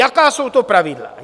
Jaká jsou to pravidla?